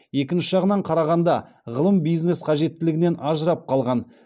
екінші жағынан қарағанда ғылым бизнес қажеттілігінен ажырап қалған